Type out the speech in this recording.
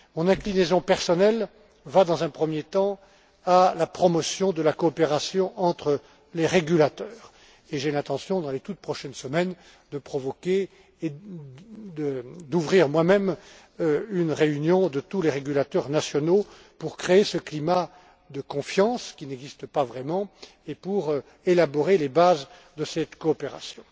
Mon inclinaison personnelle va, dans un premier temps, à la promotion de la coopération entre les régulateurs, et j'ai l'intention dans les toutes prochaines semaines de convoquer et d'organiser moi même une réunion de tous les régulateurs nationaux pour créer ce climat de confiance, qui n'existe pas vraiment, et pour élaborer les bases de cette coopération.